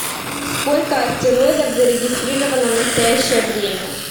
сколько астероидов зарегистрировано в настоящее время